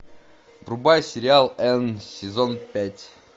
врубай сериал энн сезон пять